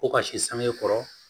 Ko ka si sange kɔrɔ